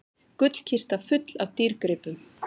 Gullkista full af dýrgripum